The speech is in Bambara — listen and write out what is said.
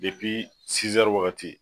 waagati.